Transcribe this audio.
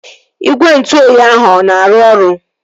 Igwe ntụ oyi ahụ ọ na-arụ ọrụ?